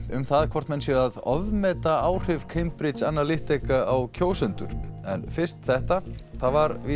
um það hvort menn séu að ofmeta áhrif Cambridge Analytica á kjósendur en fyrst þetta það var